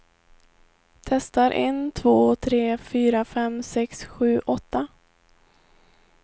Testar en två tre fyra fem sex sju åtta.